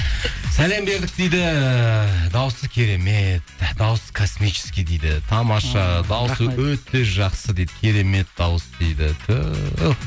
сәлем бердік дейді дауысы керемет дауысы космический дейді тамаша дауысы өте жақсы дейді керемет дауыс дейді түһ